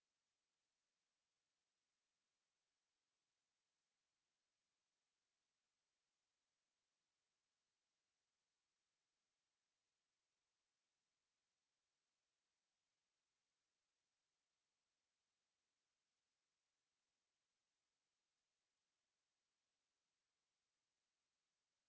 to